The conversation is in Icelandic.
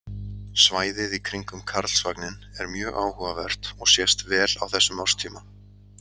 Svæðið í kringum Karlsvagninn er mjög áhugavert og sést vel á þessum árstíma.